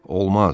Olmaz.